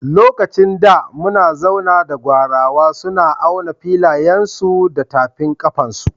Lokacin da muna zauna da Gwarawa, suna auna filayensu su da tafin kafansu.